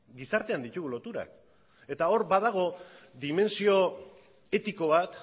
gizartean ditugu loturak eta hor badago dimentsio etiko bat